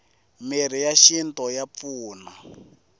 mirhi ya xinto ya pfuna